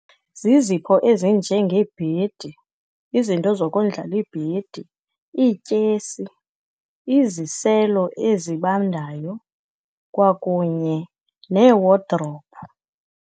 Zizipho ezinjengebhedi izinto zokondlala ibhedi, iityesi, iziselo ezibandayo kwakunye neewodrophu.